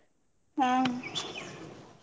ಹ್ಮ್